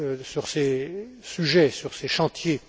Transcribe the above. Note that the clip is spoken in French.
sur ces sujets, sur ces chantiers.